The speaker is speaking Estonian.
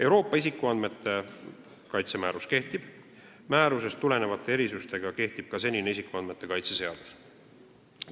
Euroopa isikuandmete kaitse määrus kehtib ja määrusest tulenevate erisustega kehtib ka senine isikuandmete kaitse seadus.